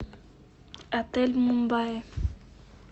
отель мумбаи